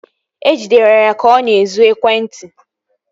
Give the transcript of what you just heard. E jidere ya ka ọ na-ezu ekwentị